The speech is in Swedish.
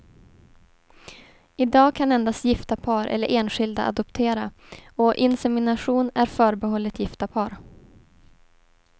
I dag kan endast gifta par eller enskilda adoptera, och insemination är förbehållet gifta par.